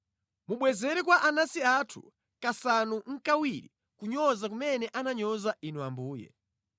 Mubwezere kwa anansi athu kasanu nʼkawiri kunyoza kumene ananyoza Inu Ambuye.